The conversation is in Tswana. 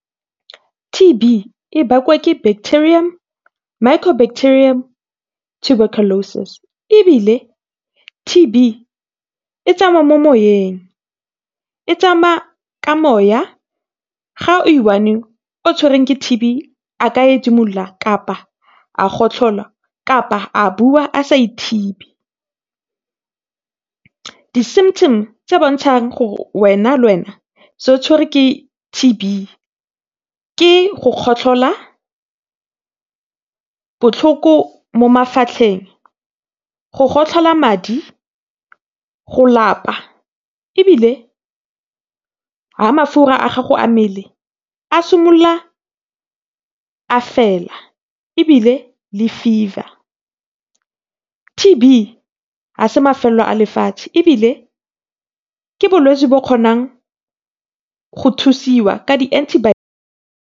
T_B e bakwa ke bacterium le micro bacterium Tuberculosis, ebile T_B e tsamaya mo moyeng, e tsamaya ka moya ga o i-one a ka edimola kapa a gotlhola, kapa a bua a sa ithibi. Di-symptoms tse bontsahang gore wena le wena so o tshwere ke T_B ke go kgotlhola, botlhoko mo mafatlheng, go gotlhola madi, go lapa ebile ha mafura a gago a mmele a simolola a fela ebile le fever. T_B ha se mafelo a lefatshe ebile ke bolwetse bo o kgonang go thusiwa ka di-anti .